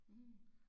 Mh